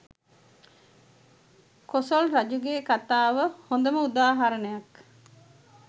කොසොල් රජුගේ කතාව හොඳම උදාහරණයක්